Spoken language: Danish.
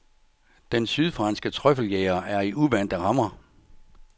Den sydfranske trøffeljæger er i uvante rammer.